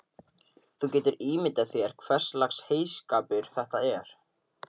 Þú getur ímyndað þér hverslags heyskapur þetta er.